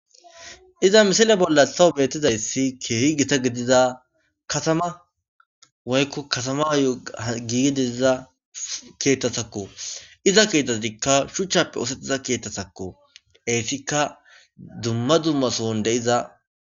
Iza misile bola betizayisi kehi gita gidida katama woyikko katama ayo Gigi diza keeththatakko ezza keeththatikka shuchchappe ooththetida keeththatakko eyitikka dumma dumma sohoni deiza